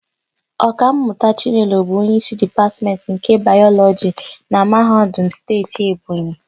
Ọkammụta Chinelo bụ onyeísí Dipatmentị nke Bayọlọjị na Mahadum Steeti Ebonyi.